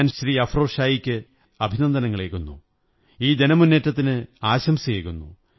ഞാൻ ശ്രീ അഫ്രോസ് ഷായ്ക്ക് അഭിനനന്ദനങ്ങളേകുന്നു ഈ ജനമുന്നേറ്റത്തിന് ആശംസയേകുന്നു